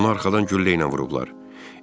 "Onu arxadan güllə ilə vurublar.